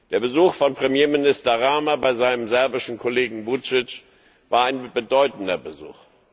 Der Besuch von Premierminister Rama bei seinem serbischen Kollegen Vučić war ein bedeutender Besuch.